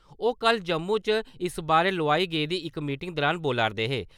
ओह् कल जम्मू च इस बारै लोआई गेदी इक मीटिंग दुरान बोला'रदे हे ।